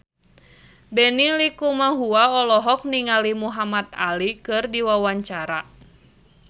Benny Likumahua olohok ningali Muhamad Ali keur diwawancara